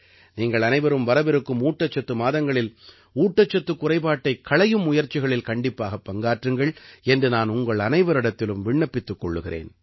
நீங்கள் அனைவரும் வரவிருக்கும் ஊட்டசத்து மாதங்களில் ஊட்டசத்துக் குறைபாட்டைக் களையும் முயற்சிகளில் கண்டிப்பாகப் பங்காற்றுங்கள் என்று நான் உங்களனைவரிடத்திலும் விண்ணப்பித்துக் கொள்கிறேன்